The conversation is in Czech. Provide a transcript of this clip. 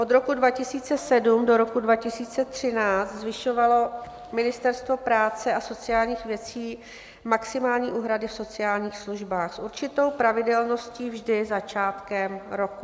Od roku 2007 do roku 2013 zvyšovalo Ministerstvo práce a sociálních věcí maximální úhrady v sociálních službách s určitou pravidelností vždy začátkem roku.